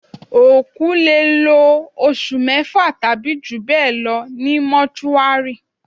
Òkú lè lò oṣù mẹ́fà tàbí jù bẹ́ẹ̀ lọ ní Mọ́túárì